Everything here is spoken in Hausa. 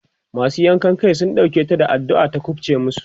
masu yankan Kai Suka ɗauke ta da addu'a ta kufce masu